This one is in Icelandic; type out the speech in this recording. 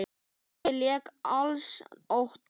Tóti lék á als oddi.